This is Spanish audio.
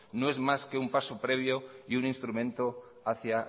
no es más que un paso previo y un instrumento hacia